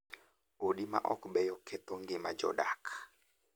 Odi ma ok beyo ketho ngima mar jodak.